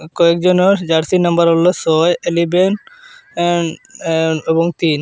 কয়েকজনার jersey number ওলো সয় eleven এন এন এবং তিন।